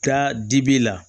Taa dibi la